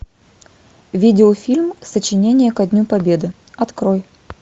видеофильм сочинение ко дню победы открой